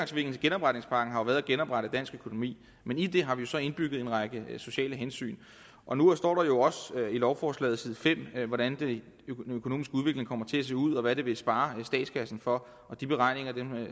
til genopretningspakken har været at genoprette dansk økonomi men i det har vi jo så indbygget en række sociale hensyn og nu står der jo også i lovforslaget hvordan den økonomiske udvikling kommer til at se ud og hvad det vil spare statskassen for de beregninger